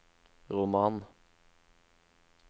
roman